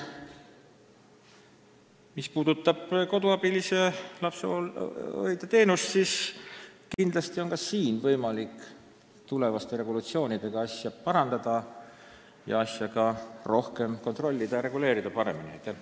Mis puudutab lapsehoidja-koduabilise teenust, siis kindlasti on ka siin võimalik tulevaste regulatsioonidega asja parandada, asja rohkem kontrollida ja paremini reguleerida.